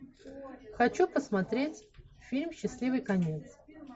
хочу посмотреть фильм счастливый конец